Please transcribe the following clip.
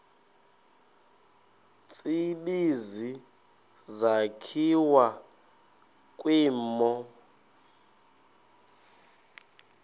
tsibizi sakhiwa kwimo